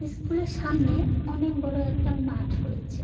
স্কুলের সামনে অনেক বড়ো একটা মাঠ রয়েছে।